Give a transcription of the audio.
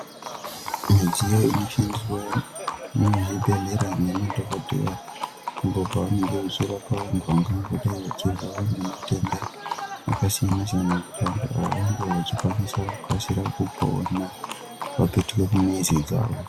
Midziyo inoshandiswa muzvibhedhlera ngemadhokodheya apo pavanenge vachirapa vantu vangangodai vachirwara ngematenda akasiyana siyana kuti vantu ava vange vachikwanisa kukasira kupona vapetuke kumizi dzawo.